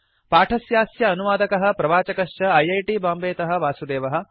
पाठस्यास्य अनुवादकः प्रवाचकश्च ऐ ऐ टी बाम्बेतः वासुदेवः